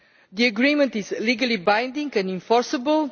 The agreement is legally binding and enforceable.